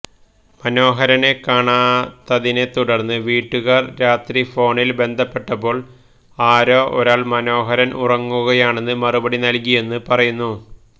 മനോഹരനെ കാണാത്തതിനെ തുടര്ന്ന് വീട്ടുകാര് രാത്രി ഫോണില് ബന്ധപ്പെട്ടപ്പോള് ആരോ ഒരാള് മനോഹരന് ഉറങ്ങുകയാണെന്ന് മറുപടി നല്കിയെന്നു പറയുന്നു